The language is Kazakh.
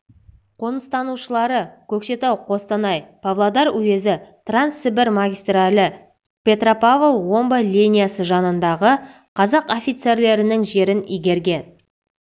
қоныстанушылары көкшетау қостанай павлодар уезі транссібір магистралі петропавл омбы линиясы жанындағы қазақ офицерлерінің жерін игерген